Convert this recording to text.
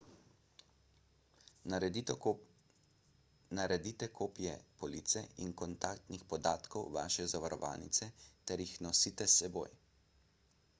naredite kopije police in kontaktnih podatkov vaše zavarovalnice ter jih nosite s seboj